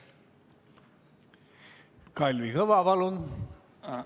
Kalvi Kõva, palun!